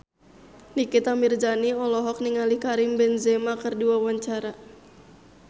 Nikita Mirzani olohok ningali Karim Benzema keur diwawancara